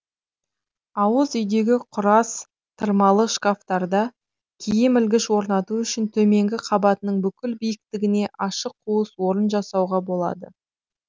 ауыз үйдегі құрас тырмалы шкафтарда киім ілгіш орнату үшін төменгі қабатының бүкіл биіктітіне ашық қуыс орын жасауға болады